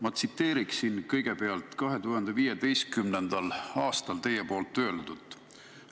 Ma tsiteeriksin kõigepealt, mida te 2015. aastal olete öelnud.